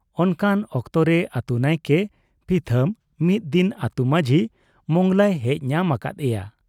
ᱚᱱᱠᱟᱱ ᱚᱠᱛᱚ ᱨᱮ ᱟᱹᱛᱩ ᱱᱟᱭᱠᱮ ᱯᱤᱛᱷᱟᱹᱢ ᱢᱤᱫ ᱫᱤᱱ ᱟᱹᱛᱩ ᱢᱟᱡᱷᱤ ᱢᱚᱸᱜᱽᱞᱟᱭ ᱦᱮᱡ ᱧᱟᱢ ᱟᱠᱟᱫ ᱮᱭᱟ ᱾